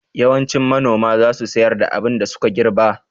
Yawancin manoma za su sayar da abin da suka girɓa